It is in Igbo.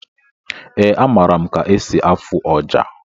Ee, amara m ka esi afụ ọjà